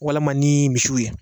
Walima ni misiw ye.